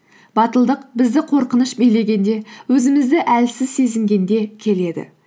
батылдық бізді қорқыныш билегенде өзімізді әлсіз сезінгенде келеді